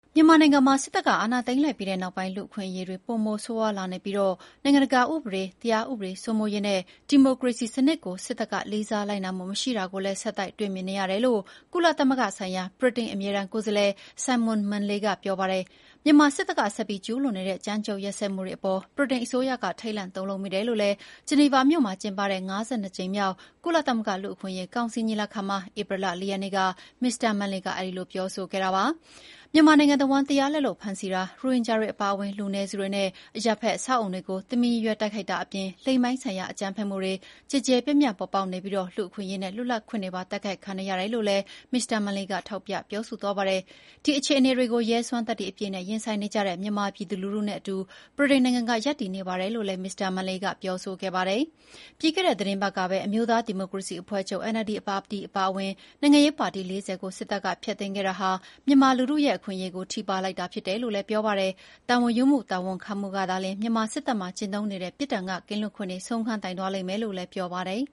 မြန်မာနိုင်ငံမှာ စစ်အာဏာသိမ်းပြီးနောက်ပိုင်း လူ့အခွင့်အရေးတွေ ပိုမို ဆိုးရွားလာနေပြီး နိုင်ငံတကာဥပဒေ၊ တရားဥပဒေစိုးမိုးရေးနဲ့ ဒီမိုကရေစီစနစ်ကို စစ်တပ်က လေးစားလိုက်နာမှုမရှိတာကိုလည်း ဆက်တိုက်တွေ့မြင်နေရတယ်လို့ ကုလသမဂ္ဂဆိုင်ရာ ဗြိတိန်အမြဲတမ်းကိုယ်စားလှယ် Simon Manley က ပြောပါတယ်။ မြန်မာစစ်တပ်က ဆက်ပြီးကျူးလွန်နေတဲ့ ကြမ်းကြုတ်ရက်စက်မှုတွေ အပေါ် ဗြိတိန်အစိုးရက ထိတ်လန့်တုန်လှုပ်မိတယ်လို့လည်း ဂျနီဗာမြို့မှာကျင်းပတဲ့ ၅၂ ကြိမ်မြောက် ကုလသမဂ္ဂ လူ့အခွင့်အရေးကောင်စီညီလာခံမှာ ဧပြီလ ၄ ရက်နေ့က မစ္စတာ Manley ပြောခဲ့ပါတယ်။ မြန်မာနိုင်ငံတဝန်း တရားလက်လွတ်ဖမ်းဆီးတာ၊ ရိုဟင်ဂျာတွေအပါအဝင် လူနည်းစုတွေနဲ့ အရပ်ဖက်အဆောက်အအုံတွေကို တမင်ရည်ရွယ် တိုက်ခိုက်တာအပြင် လိင်ပိုင်းဆိုင်ရာ အကြမ်းဖက်မှုတွေ ကျယ်ကျယ်ပြန့်ပြန့်ပေါ်ပေါက်နေပြီး လူ့အခွင့်အရေးနဲ့ လွတ်လပ်ခွင့်တွေပါ တိုက်ခိုက်ခံနေရတယ်လို့လည်း မစ္စတာ Manley က ထောက်ပြပြောဆိုသွားပါတယ်။ ဒီအခြေအတွေကို ရဲစွမ်းသတ္တိအပြည့်နဲ့ ရင်ဆိုင်နေကြတဲ့မြန်မာပြည်သူလူထုနဲ့အတူ ဗြိတိန်နိုင်ငံကရပ်တည်နေပါတယ်လို့လည်း မစ္စတာ Manley ကပြောဆိုခဲ့ပါတယ်။ ပြီးခဲ့တဲ့သီတင်းပတ်ကပဲ အမျိုးသားဒီမိုကရေစီအဖွဲ့ချုပ် NLD ပါတီအပါအဝင် နိုင်ငံရေးပါတီ ၄၀ ကို စစ်တပ်ကဖျက်သိမ်းခဲ့တာဟာ မြန်မာလူထုရဲ့အခွင့်အရေးတွေကို ထိပါးလိုက်တာဖြစ်တယ်လို့လည်း ပြောပါတယ်။ တာဝန်ယူမှုနဲ့တာဝန်ခံမှုကသာလျှင် မြန်မာစစ်တပ်မှာကျင့်သုံးနေတဲ့ ပြစ်ဒဏ်ကကင်းလွတ်ခွင့်တွေ ဆုံးခန်းတိုင်သွားလိမ့်မယ်လို့လည်းပြောပါတယ်